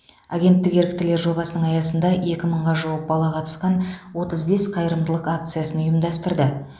агенттік еріктілер жобасының аясында екі мыңға жуық бала қатысқан отыз бес қайырымдылық акциясын ұйымдастырды